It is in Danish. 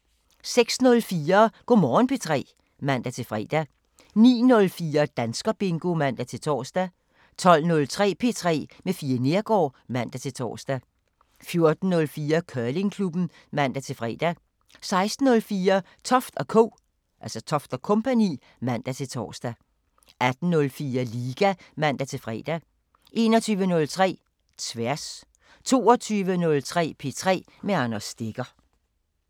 06:04: Go' Morgen P3 (man-fre) 09:04: Danskerbingo (man-tor) 12:03: P3 med Fie Neergaard (man-tor) 14:04: Curlingklubben (man-fre) 16:04: Toft & Co. (man-tor) 18:04: Liga (man-fre) 21:03: Tværs 22:03: P3 med Anders Stegger